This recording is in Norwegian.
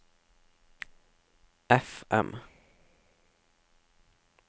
FM